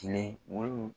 Kile wolonwula